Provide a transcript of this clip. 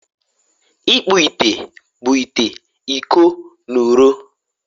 ịkpụ ite bụ ite ite, iko na ụrọ